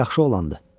Yaxşı oğlandı.